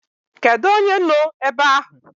Kedu onye no ebe ahụ?